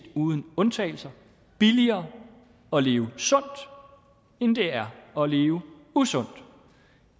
uden undtagelse er billigere at leve sundt end det er at leve usundt